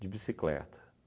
de bicicleta.